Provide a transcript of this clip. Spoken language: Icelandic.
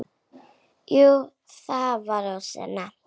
Jú það var of snemmt.